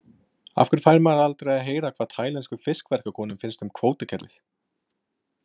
Af hverju fær maður aldrei að heyra hvað tælenskum fiskverkakonum finnst um kvótakerfið?